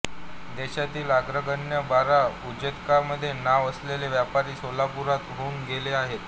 देशातील अग्रगण्य बारा उद्योजकांमध्ये नाव असलेला व्यापारी सोलापूरात होऊन गेला होता